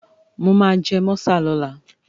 Mo máa jẹ mọ́sà lọ́la.